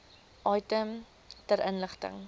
item ter inligting